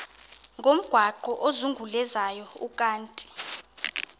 ngomgaqo ozungulezayo ukanti